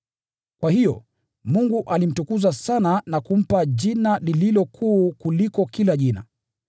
Kwa hiyo, Mungu alimtukuza juu sana, na kumpa Jina lililo kuu kuliko kila jina,